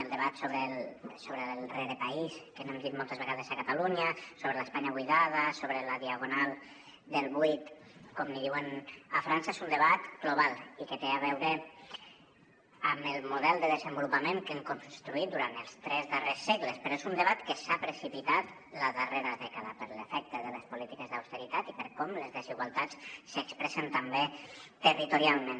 el debat sobre el rerepaís que n’hem dit moltes vegades a catalunya sobre l’espanya buidada sobre la diagonal del buit com en diuen a frança és un debat global i que té a veure amb el model de desenvolupament que hem construït durant els tres darrers segles però és un debat que s’ha precipitat la darrera dècada per l’efecte de les polítiques d’austeritat i per com les desigualtats s’expressen també territorialment